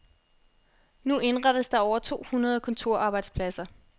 Nu indrettes der over to hundrede kontorarbejdspladser.